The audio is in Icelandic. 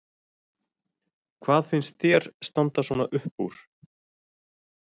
Hvað finnst þér standa svona upp úr?